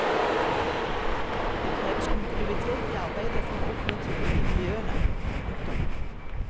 Det kreves kontinuitet i arbeidet for å oppnå tillit i miljøene. punktum